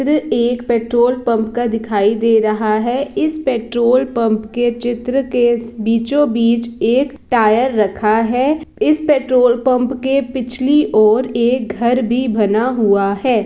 र एक petrol pump (Petrol Pump) का दिखाई दे रहा है। इस पेट्रोल पंप(Petrol Pump) के चित्र के बीचो बीच एक टायर रखा है। इस पेट्रोल पंप (Petrol Pump) के पिछली ओर एक घर भी बना हुआ है।